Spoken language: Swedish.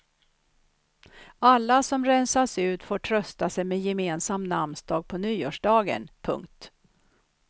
Alla som rensas ut får trösta sig med gemensam namnsdag på nyårsdagen. punkt